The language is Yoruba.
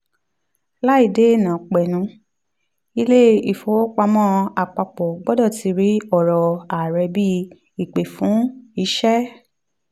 láìdéènàpẹnu ilé ìfowópamó àpapọ̀ gbọ́dọ̀ ti rí ọ̀rọ̀ ààrẹ bí ìpe fún ìṣe.